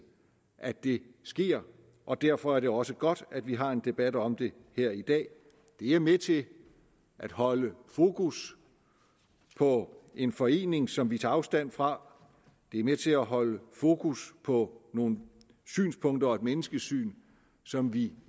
at det sker og derfor er det også godt at vi har en debat om det her i dag det er med til at holde fokus på en forening som vi tager afstand fra det er med til at holde fokus på nogle synspunkter og et menneskesyn som vi